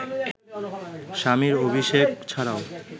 স্বামী অভিষেক ছাড়াও